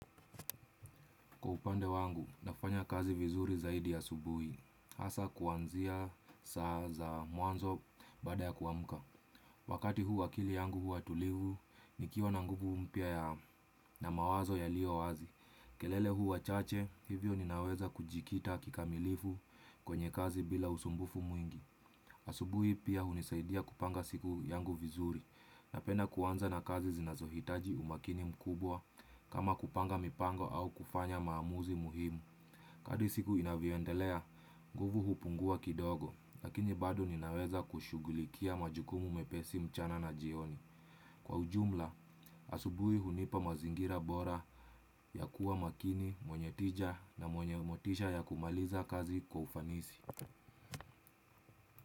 Kwa upande wangu, nafanya kazi vizuri zaidi ya asubuhi, hasa kuanzia saa za mwanzo baada ya kuamka. Wakati huu akili yangu huwa tulivu, nikiwa na nguvu mpya ya na mawazo yaliyo wazi. Kelele huwa chache, hivyo ninaweza kujikita kikamilifu kwenye kazi bila usumbufu mwingi. Asubuhi pia hunisaidia kupanga siku yangu vizuri napenda kuanza na kazi zinazohitaji umakini mkubwa kama kupanga mipango au kufanya maamuzi muhimu. Kadri siku inavyoendelea, nguvu hupungua kidogo lakini bado ninaweza kushugulikia majukumu mepesi mchana na jioni. Kwa ujumla, asubuhi hunipa mazingira bora ya kuwa makini, mwenye tija na mwenye motisha ya kumaliza kazi kwa ufanisi.